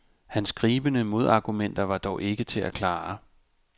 Hans gribende modargumenter var dog ikke til at klare.